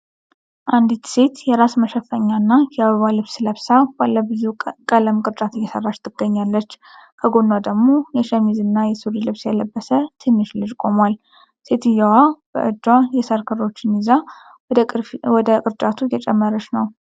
አንዲት ሴት የራስ መሸፈኛ እና የአበባ ልብስ ለብሳ፣ ባለብዙ ቀለም ቅርጫት እየሠራች ትገኛለች። ከጎኗ ደግሞ የሸሚዝና የሱሪ ልብስ የለበሰ ትንሽ ልጅ ቆሟል። ሴትየዋ በእጇ የሳር ክሮችን ይዛ ወደ ቅርጫቱ እየጨመረች ነው።